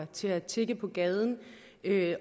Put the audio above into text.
til at tigge på gaden